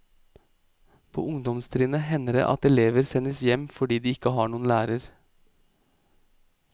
På ungdomstrinnet hender det at elever sendes hjem fordi de ikke har noen lærer.